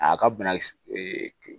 A ka banakisɛ